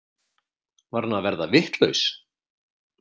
Var hann að verða vitlaus?